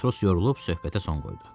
Matros yorulub söhbətlə son qoydu.